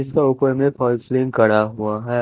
इसका ऊपर में फालसीलिंग करा हुआ है।